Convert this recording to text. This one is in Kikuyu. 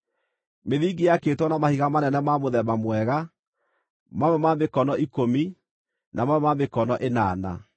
Mĩthingi yaakĩtwo na mahiga manene ma mũthemba mwega, mamwe ma mĩkono ikũmi, na mamwe ma mĩkono ĩnana.